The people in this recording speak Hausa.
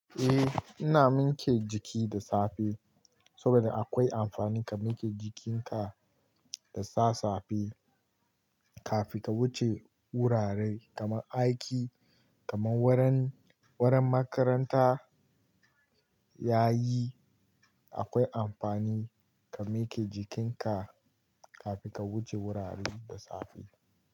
Eh, ina mike jiki da safe saboda akwai amfani ka mike jikinka da sa safe kafin ka wuce wurare kamar aiki, kamar wurin, wurin makaranta. Yayi akwai amfani ka mike jikinka kafin ka wuce wurare da safe.